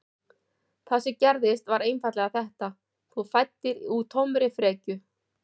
Það sem gerðist var einfaldlega þetta: Þú fæddir úr tómri frekju.